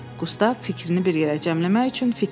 Qustav fikrini bir yerə cəmləmək üçün fit çaldı.